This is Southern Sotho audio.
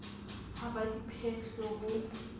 ha ba di phetle ho